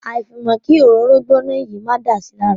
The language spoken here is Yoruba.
Àfàìmọ̀ kí òróró gbóná yìí máa dà si lára.